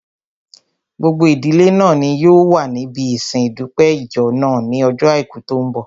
Gbogbo ìdílé náà ni yóò wà níbi ìsin ìdúpẹ́ ìjọ náà ní ojó àìkú tó n bọ̀